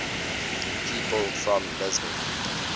people from lisbon